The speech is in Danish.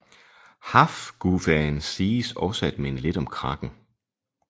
Hafguvaen siges også at minde lidt om kraken